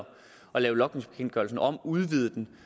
lave logningsbekendtgørelsen om udvide den